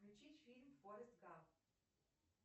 включить фильм форест гамп